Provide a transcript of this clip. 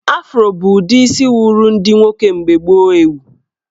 Afro bụ udi isi wuru ndị nwoke mgbe gboo ewu